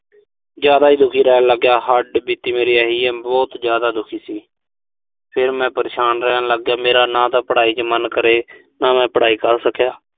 ਜ਼ਿਆਦਾ ਈ ਦੁਖੀ ਰਹਿਣ ਲਾਗਿਆ। ਹੱਡਬੀਤੀ ਮੇਰੀ ਇਹੀ ਆ, ਮੈਂ ਬਹੁਤ ਜ਼ਿਆਦਾ ਦੁਖੀ ਸੀ। ਫਿਰ ਮੈਂ ਪਰੇਸ਼ਾਨ ਰਹਿਣ ਲਾਗਿਆ। ਮੇਰਾ ਨਾ ਤਾਂ ਪੜਾਈ ਚ ਮਨ ਕਰੇ। ਨਾ ਮੈਂ ਪੜਾਈ ਕਰ ਸਕਿਆ।